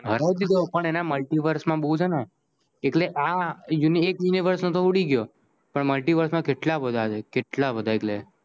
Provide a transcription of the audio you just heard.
હરાઈ દીધો પણ એને multiverse મા બોવ છે ને એટલે આ universe ઊડી ગ્યો પણ multiverse માં કેટલા બધા છે કેટલા બધા એટલે